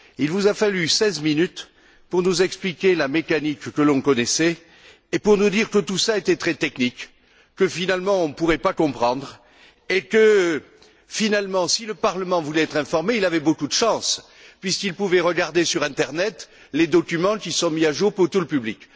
Il vous a fallu seize minutes pour nous expliquer la mécanique, que l'on connaissait, et pour nous dire que tout cela était très technique, que finalement on ne pourrait pas comprendre et que si le Parlement voulait être informé, il avait beaucoup de chance, puisqu'il pouvait regarder sur internet les documents qui sont mis à jour pour tout le public.